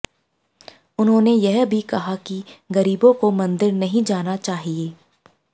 उन्होंने यह भी कहा कि गरीबो को मंदिर नहीं जाना चाहिए